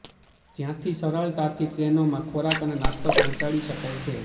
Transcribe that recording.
જ્યાંથી સરળતાથી ટ્રેનોમાં ખોરાક અને નાસ્તો પહોંચાડી શકાય છે